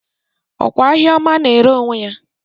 Ọ kwa ahịa ọma na-ere onwe ya?